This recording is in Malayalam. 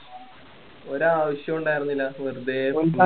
ഒരാവശ്യവും ഉണ്ടാരുന്നില്ല വെറുതേ കൊണ്ടുപോയി